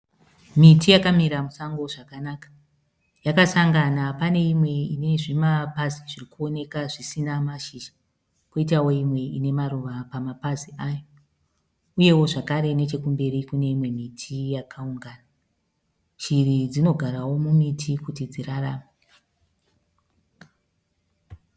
Miti yakamira musango zvakanaka. Yakasangana, pane imwe ine zvimapazi zviri kuonekwa zvisina mashizha kwoitawo imwe ine maruva pamapazi ayo. Uyewo zvakare nechokumberi kune imwewo miti yakaungana. Shiri dzinogarawo mumiti kuti dzirarame.